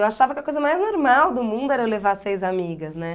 Eu achava que a coisa mais normal do mundo era eu levar seis amigas, né?